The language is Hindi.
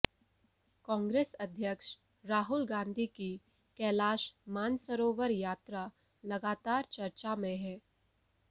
कांग्रेस अध्यक्ष राहुल गांधी की कैलाश मानसरोवर यात्रा लगातार चर्चा में है